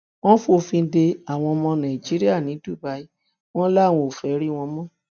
wọn fòfin de àwọn ọmọ nàìjíríà ní dubai wọn làwọn ò fẹẹ rí wọn mọ